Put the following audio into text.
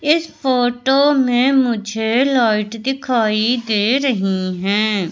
इस फोटो में मुझे लाइट दिखाई दे रही है।